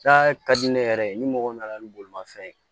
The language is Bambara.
Taa ka di ne yɛrɛ ye ni mɔgɔ nana ni bolimafɛn ye